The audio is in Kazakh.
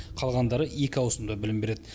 қалғандары екі ауысымда білім береді